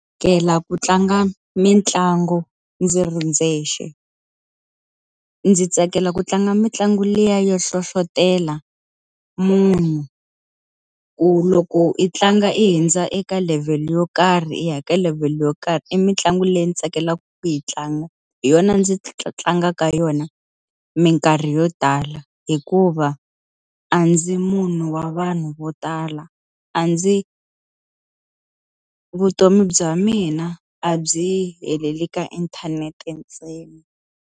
ku tlanga mitlangu ndzi ri ndzexe. Ndzi tsakela ku tlanga mitlangu liya yo hlohletelo munhu ku loko i tlanga i hundza eka level yo karhi i ya ka level yo karhi, i mitlangu leyi ndzi tsakelaka ku yi tlanga. Hi yona ndzi tlangaka yona minkarhi yo tala hikuva a ndzi munhu wa vanhu vo tala. A ndzi vutomi bya mina a byi heleli ka inthanete ntsena.